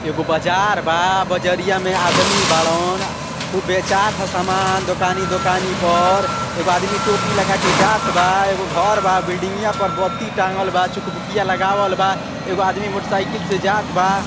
एगो बजार बा। बजरिया में आदमी बाड़न। आ खूब बेचात ह सामान दोकानी दोकानी पर। एगो आदमी टोपी लगा के जात बा। एगो घर बा। बिल्डिंगिया पर बत्ती टाँगल बा। चूकभूकीया लगावल बा। एगो आदमी मोटरसाइकिल से जात बा।